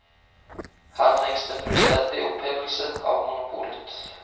Her trenges det en fullstendig opphevelse av monopolet.